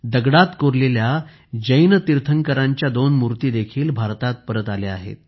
दगडात कोरलेल्या जैन तीर्थंकरांच्या दोन मूर्ती देखील भारतात परत आल्या आहेत